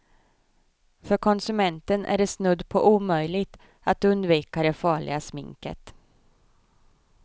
För konsumenten är det snudd på omöjligt att undvika det farliga sminket.